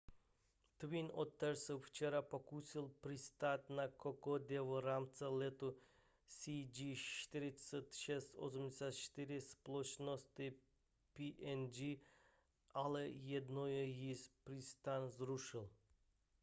twin otter se včera pokusil přistát na kokodě v rámci letu cg4684 společnosti png ale jednou již přistání zrušil